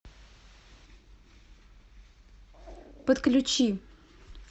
подключи